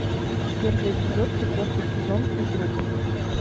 первый эпизод четвертый сезон физрук